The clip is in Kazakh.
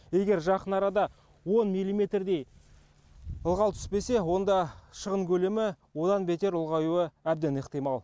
егер жақын арада он миллиметрдей ылғал түспесе онда шығын көлемі одан бетер ұлғаюы әбден ықтимал